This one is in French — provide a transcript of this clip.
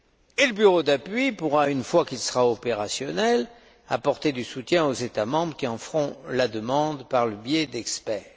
Et le bureau d'appui pourra, une fois qu'il sera opérationnel, apporter un soutien aux États membres qui en feront la demande par le biais d'experts.